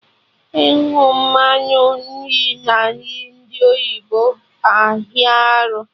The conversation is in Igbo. Ịhụ mmanụ nri na nri ndi oyibo hịa arụ